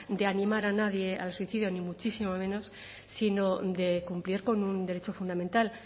de animar a nadie al suicidio ni muchísimo menos sino de cumplir con un derecho fundamental